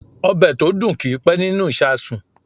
Ọ̀bẹ̀ tó dùn kì í pẹ́ nínú ìsàsùn.